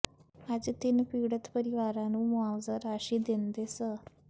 ਅਜ ਤਿੰਨ ਪੀੜਤ ਪਰਿਵਾਰਾਂ ਨੂੰ ਮੁਆਵਜ਼ਾ ਰਾਸ਼ੀ ਦਿੰਦੇ ਸ